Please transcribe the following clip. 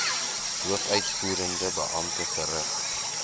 hoofuitvoerende beampte verrig